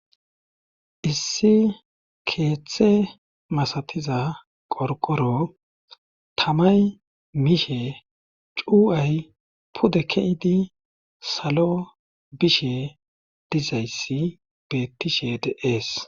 issi keeththe masatiza qorqoro tamay miishe cu7ay pude keidi salo bishe dizayssi bettishe de'ees